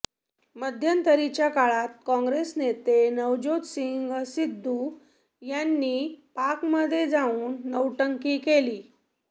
मध्यंतरीच्या काळात काँगेस नेते नवज्योतसिंग सिद्धू यांनी पाकमध्ये जाऊन नौटंकी केली